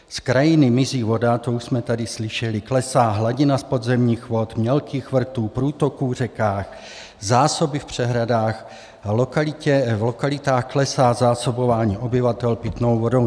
Z krajiny mizí voda, to už jsme tady slyšeli, klesá hladina podzemních vod, mělkých vrtů, průtoků v řekách, zásoby v přehradách a v lokalitách klesá zásobování obyvatel pitnou vodou.